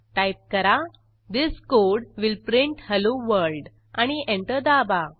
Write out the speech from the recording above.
type करा this code will print hello world आणि enter दाबा